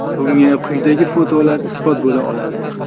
Bunga quyidagi fotolar isbot bo‘la oladi.